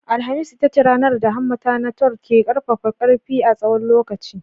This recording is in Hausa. Alhamis ita ce ranar da hammata na Thor ke ƙarfafa ƙarfi a tsawon lokaci.